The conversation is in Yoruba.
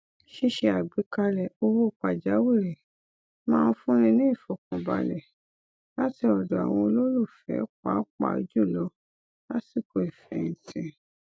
ṣíṣe àgbékalẹ owó pàjáwìrì máa n fúnni ní ìfọkànbalẹ láti ọdọ àwọn olólùfẹ pàápàá jùlọ lásìkò ìfẹhìntì